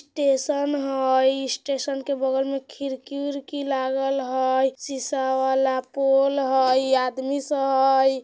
टेसन हई स्टेशन के बगल में खिड़की-विरकी लागल हई सीसा वाला पोल हई आदमी सब हई।